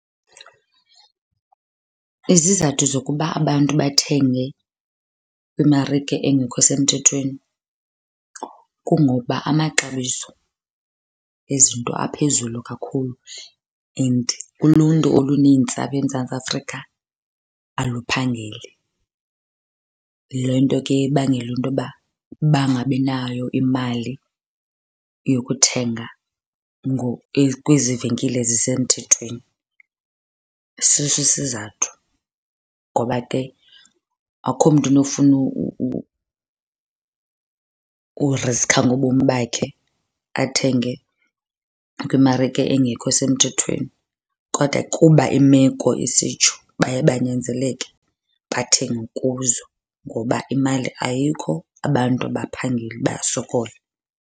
Izizathu zokuba abantu bathenge kwimarike engekho semthethweni kungokuba amaxabiso ezinto aphezulu kakhulu and uluntu olunintsi apha eMzantsi Afrika aluphangeli. Le nto ke ibangela into yoba bangabi nayo imali yokuthenga kwezi venkile zisemthethweni, siso isizathu. Ngoba ke akho mntu unofuna ukuriskha ngobomi bakhe athenge kwimarike engekho semthethweni. Kodwa kuba imeko isitsho baye banyanzeleke bathenge kuzo ngoba imali ayikho, abantu abaphangeli, bayasokola.